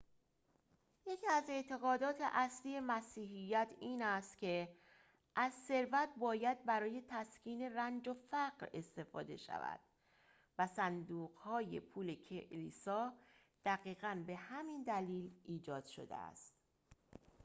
یکی از اعتقادات اصلی مسیحیت این است که از ثروت باید برای تسکین رنج و فقر استفاده شود و صندوق‌های پول کلیسا دقیقاً به همین دلیل ایجاد شده است